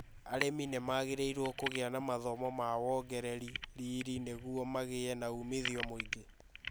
Arĩmi nĩ magĩrĩirũo kũgia na mathomo ma wongereri riri nĩguo magĩe na uumithio mũingĩ.